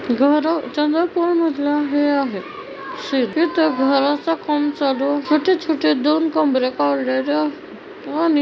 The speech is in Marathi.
घर घराचं काम चालू छोटे-छोटे दोन कमरे काढलेल आणि --